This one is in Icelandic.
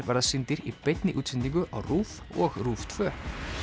verða sýndir í beinni útsendingu á RÚV og RÚV tvö nú